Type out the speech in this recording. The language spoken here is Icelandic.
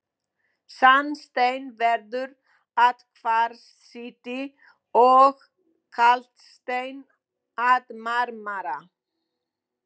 Sandsteinn verður að kvarsíti og kalksteinn að marmara.